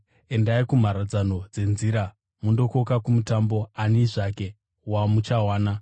Endai kumharadzano dzenzira mundokoka kumutambo ani zvake wamuchawana.’